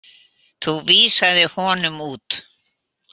Þú vísaðir honum út.